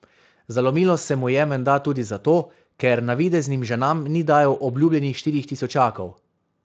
Zalomilo se mu je menda tudi zato, ker navideznim ženam ni dajal obljubljenih štirih tisočakov.